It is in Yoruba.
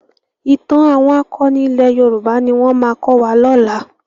Ìtàn àwọn akọni ilẹ̀ Yorùbá ni wọ́n máa kọ́ wa lọ́la.